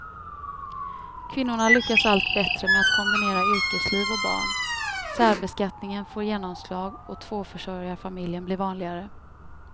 Kvinnorna lyckas allt bättre med att kombinera yrkesliv och barn, särbeskattningen får genomslag och tvåförsörjarfamiljen blir vanligare.